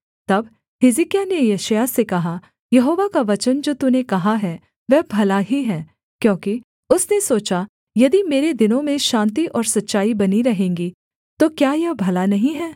तब हिजकिय्याह ने यशायाह से कहा यहोवा का वचन जो तूने कहा है वह भला ही है क्योंकि उसने सोचा यदि मेरे दिनों में शान्ति और सच्चाई बनी रहेंगी तो क्या यह भला नहीं है